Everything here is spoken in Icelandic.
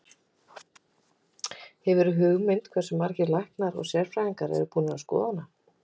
Hefurðu hugmynd um hversu margir læknar og sérfræðingar eru búnir að skoða hana?